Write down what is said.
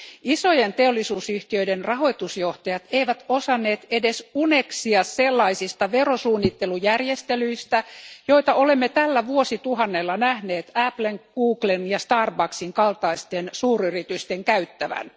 Isojen teollisuusyhtiöiden rahoitusjohtajat eivät osanneet edes uneksia sellaisista verosuunnittelujärjestelyistä, joita olemme tällä vuosituhannella nähneet Applen, Googlen ja Starbucksin kaltaisten suuryritysten käyttävän.